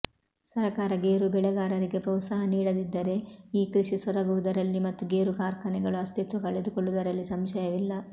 ಸರಕಾರ ಗೇರು ಬೆಳೆಗಾರರಿಗೆ ಪ್ರೋತ್ಸಾಹ ನೀಡದಿದ್ದರೆ ಈ ಕೃಷಿ ಸೊರಗುವುದರಲ್ಲಿ ಮತ್ತು ಗೇರು ಕಾರ್ಖಾನೆಗಳು ಅಸ್ತಿತ್ವ ಕಳಕೊಳ್ಳುವುದರಲ್ಲಿ ಸಂಶಯವಿಲ್ಲ